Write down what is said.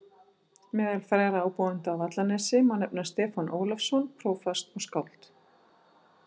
Meðal frægra ábúenda á Vallanesi má nefna Stefán Ólafsson prófast og skáld.